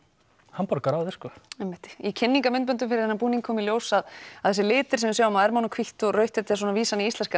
hamborgara áður sko einmitt í kynningarmyndböndum fyrir þennan búning kom í ljós að að þessir litir sem við sjáum á ermunum hvítt og rautt þetta er svona vísun í íslenska